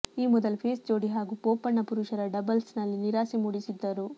ಈ ಮೊದಲು ಪೇಸ್ ಜೋಡಿ ಹಾಗೂ ಬೋಪಣ್ಣ ಪುರುಷರ ಡಬಲ್ಸ್ನಲ್ಲಿ ನಿರಾಸೆ ಮೂಡಿಸಿದ್ದರು